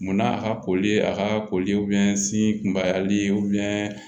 Munna a ka koli ye a ka koli sin kunbayali